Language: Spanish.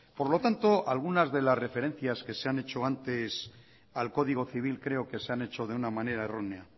por lo tanto algunas de las referencias que se han hecho antes al código civil creo que se han hecho de una manera errónea